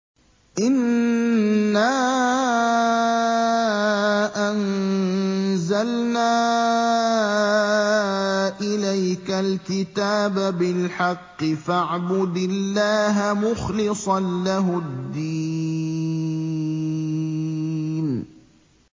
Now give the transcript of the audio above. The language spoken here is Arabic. إِنَّا أَنزَلْنَا إِلَيْكَ الْكِتَابَ بِالْحَقِّ فَاعْبُدِ اللَّهَ مُخْلِصًا لَّهُ الدِّينَ